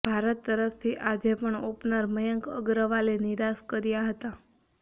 ભારત તરફથી આજે પણ ઓપનર મયંક અગ્રવાલે નિરાશ કર્યા હતાં